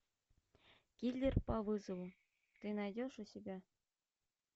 киллер по вызову ты найдешь у себя